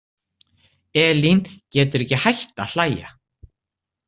Elín getur ekki hætt að hlæja.